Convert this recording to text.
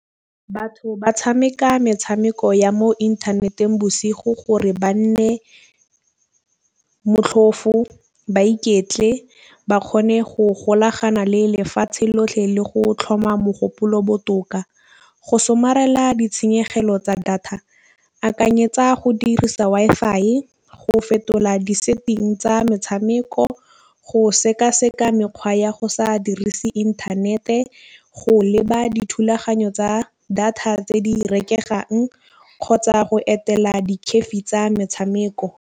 Batho ba tšhameka metšhameko ya mo inthaneteng bosigo gore ba nne motlhofo ba iketle ba kgone go golagana le lefatšhe lotlhe le go tlhoma mogopolo botoka. Go somarela ditšhenyegelo tsa data akanyetsa go dirisa Wi-Fi e go fetola di-setting tsa metšhameko go sekaseka mekgwa ya go sa dirise inthanete. Go leba dithulaganyo tsa data tse di reketlang kgotsa go etela di-cafe tsa metšhameko.